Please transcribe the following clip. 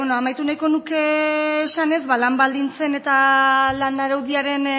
amaitu nahiko nuke esanez lan baldintzen eta lan araudiaren